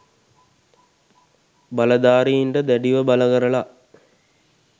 බලදාරීන්ට දැඩිව බල කරල